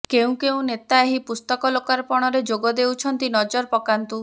କେଉଁ କେଉଁ ନେତା ଏହି ପୁସ୍ତକ ଲୋକାର୍ପଣରେ ଯୋଗ ଦେଉଛନ୍ତି ନଜର ପକାନ୍ତୁ